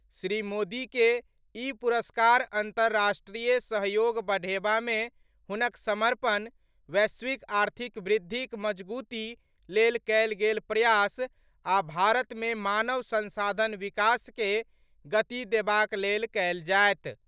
श्री मोदी के ई पुरस्कार अंतर्राष्ट्रीय सहयोग बढ़ेबा मे हुनक समर्पण, वैश्विक आर्थिक वृद्धिक मजगूती लेल कयल गेल प्रयास आ भारत मे मानव संसाधन विकास के गति देबाक लेल कयल जायत।